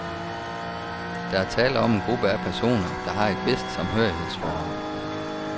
Der er tale om en gruppe af personer, der har et vist samhørighedsforhold.